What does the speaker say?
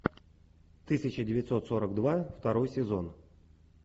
тысяча девятьсот сорок два второй сезон